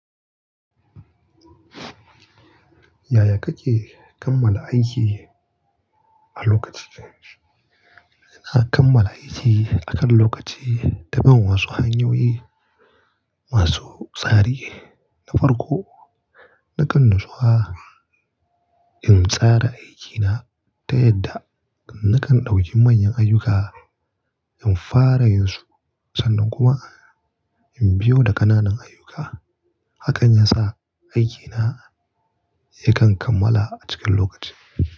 Yaya kake kammala aiki a lokaci? Ina kammala aiki akan lokaci ta ban wasu hanyoyi masu tsari. Na farko, nakan natsuwa in tsara aikina ta yadda nakan ɗauki manyan ayyuka in fara yinsu sannan kuma in biyo da ƙananan ayyuka. Hakan yasa aikina yakan kammala a cikin lokaci.